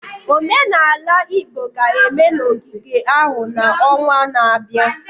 Omenala Igbo ga-eme n'ogige ahụ n'ọnwa na-abịa.